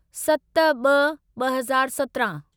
सत ब॒ ब॒ हज़ार सतिरहाँ